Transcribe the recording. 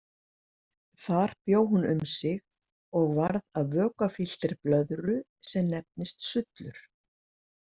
Þar bjó hún um sig og varð að vökvafylltri blöðru sem nefnist sullur.